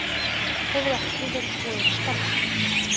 Hefur ekki verið boðið starfið